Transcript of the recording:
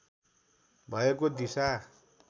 भएको दिशा